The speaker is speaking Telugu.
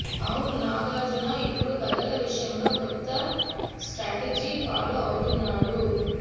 అవును నాగార్జున ఇపుడు కథల విషయంలో కొత్త స్ట్రాటజీ ఫాలో అవుతున్నాడు